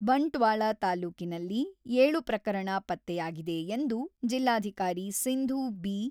ಬಂಟ್ವಾಳ ತಾಲೂಕಿನಲ್ಲಿ ಏಳು ಪ್ರಕರಣ ಪತ್ತೆಯಾಗಿದೆ ಎಂದು ಜಿಲ್ಲಾಧಿಕಾರಿ ಸಿಂಧು ಬಿ.